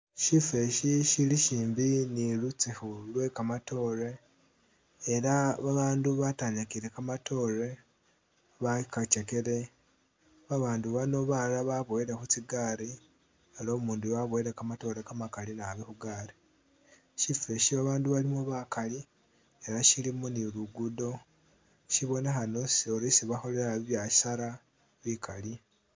Sifosi silisimbi nilusukhu lwe kamatoore elah babandu batanyakile kamatoore bakatsyekele babandu bano balala baboyile khutsigari aliwo umunduyu waboyile kamatoore kamakali naabi khugari sifosho bandu balimo bakaali elah siliimo niluguddo sibonekhana uri isi bakholela biasara bikaali